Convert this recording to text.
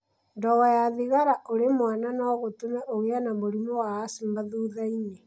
Ndogo ya thigara ũrĩ mwana no gũtũme ũgĩe na mũrimũ wa asthma thutha-inĩ.